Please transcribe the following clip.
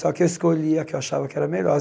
Só que eu escolhia a que achava que era a melhor.